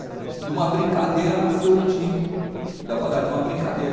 De uma brincadeira nasceu o time, da quadradinha, uma brincadeira.